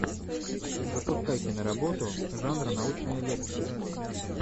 запускай киноработу жанр научная лекция